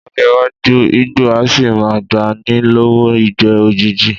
Ló̩jó̩ iwájú, igbó á sì máa gba ni ló̩wó̩ ìgbé̩ òjijì